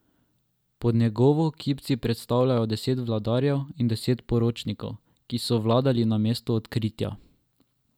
Po njegovo kipci predstavljajo deset vladarjev in deset poročnikov, ki so vladali na mestu odkritja.